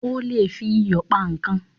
O lè fi iyò pa ikán